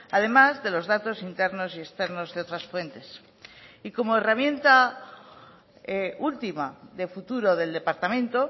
además de los datos internos y externos de otras fuentes y como herramienta última de futuro del departamento